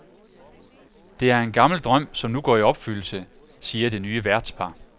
Det er en gammel drøm, som nu går i opfyldelse, siger det nye værtspar.